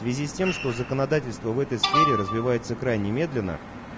в связи с тем что законодательство в этой сфере развивается крайне медленно